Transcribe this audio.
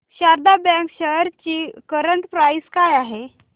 Sharda bank shares ची current price काय आहे